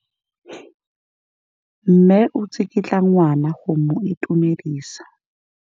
Mme o tsikitla ngwana go mo itumedisa.